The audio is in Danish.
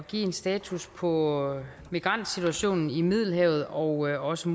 at give en status på migrantsituationen i middelhavet og også